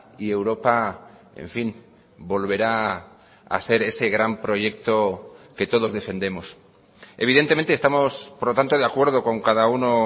y europa en fin volverá a ser ese gran proyecto que todos defendemos evidentemente estamos por lo tanto de acuerdo con cada uno